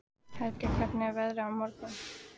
Hergill, hvernig er veðrið á morgun?